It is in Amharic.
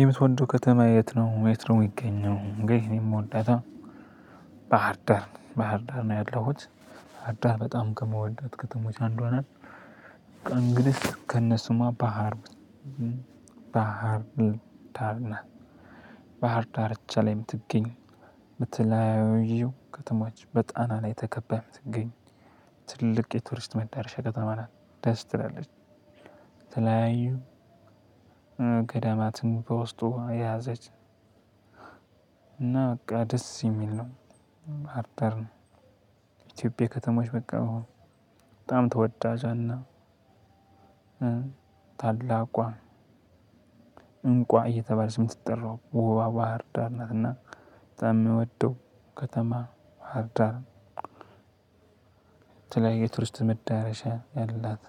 የምትወደው ከተማ የት ነው? የት ነው? የሚገኘው እንግዲህ እኔ የምወዳታ ባህርዳር ባህርዳር ነው ያለሁት ባህርዳር በጣም ከምወዳት ከተሞች አንዷ ናት። በቃ እንግዲህ ከነ ስሟ ባህር ባህር ባህር ዳርቻ ላይ የምትገኝ። በተለያዩ ከተማዎች በጣና ላይ ተከባ የምትገኝ ትልቅ የቱሪስት መዳረሻ ከተማ ናት። ደስ ትላለች። የተለያዩ ገዳማትን በውስጡ የያዘች እና በቃ ደስ የሚል ነው። ባህርዳር ነው ኢትዮጵያ ከተሞች በቃ በጣም ተወዳጇና ታላቋ እንቁዋ እየተባለች የምትጠራው ውባዋ ባህርዳር ናትና። የምወደው ከተማ ባህርዳር። የተለያየ የቱርስት መዳረሻ ያላት